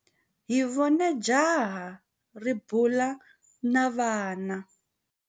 Hi vone jaha ri bula na vana.